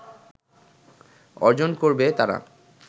অর্জন করবে তারা